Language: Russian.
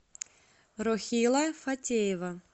рохила фатеева